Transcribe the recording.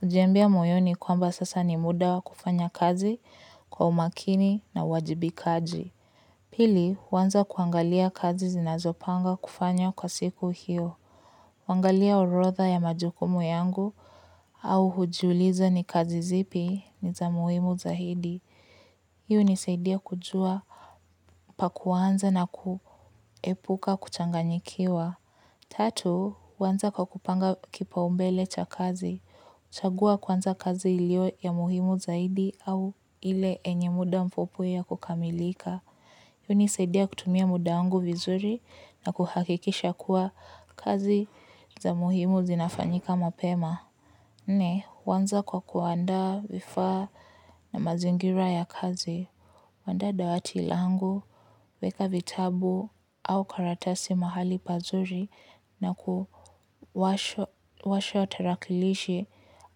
Hujiambia moyoni kwamba sasa ni muda kufanya kazi kwa umakini na uwajibikaji. Pili, uanza kuangalia kazi zinazopanga kufanya kwa siku hiyo. Uangalia orotha ya majukumu yangu au hujiuliza ni kazi zipi ni za muhimu zaidi. Hii unisaidia kujua pa kuanza na kuepuka kuchanganyikiwa. Tatu, uanza kwa kupanga kipaumbele cha kazi. Chagua kwanza kazi ilio ya muhimu zaidi au ile yenye muda mfupi ya kukamilika. Hii unisaidia kutumia muda wangu vizuri na kuhakikisha kuwa kazi za muhimu zinafanyika mapema. Nne, uanza kwa kuandaa vifaa na mazingira ya kazi. Uandaa dawati langu, weka vitabu au karatasi mahali pazuri na kuwasha tarakilishi